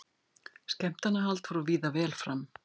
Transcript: Skemmtanahald fór víða vel fram